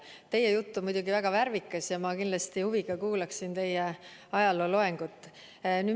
Teie jutt on muidugi väga värvikas ja ma kindlasti huviga kuulaksin teie ajalooloengut.